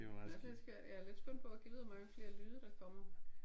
Det er også lidt skørt. Jeg er lidt spændt på gad vide hvor mange flere lyde der kommer?